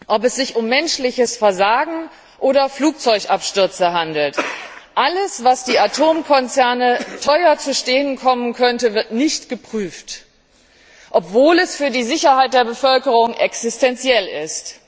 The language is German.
Ob es sich um menschliches Versagen oder Flugzeugabstürze handelt, alles, was die Atomkonzerne teuer zu stehen kommen könnte, wird nicht geprüft, obwohl es für die Sicherheit der Bevölkerung existenziell ist.